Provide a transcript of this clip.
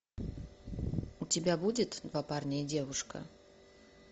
у тебя будет два парня и девушка